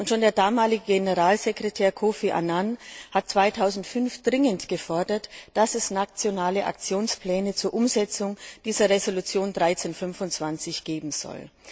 Schon der damalige Generalsekretär Kofi Annan hat 2005 dringend gefordert, dass es nationale Aktionspläne zur Umsetzung der Resolution 1325 geben soll.